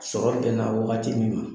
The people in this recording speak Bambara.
Sɔrɔ bɛnna waati min ma